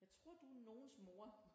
Jeg tror du er nogens mor